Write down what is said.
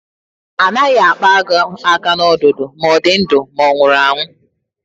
A naghị akpa agụ aka n'ọdụ, ma ọ dị ndụ ma ọ nwụrụ anwu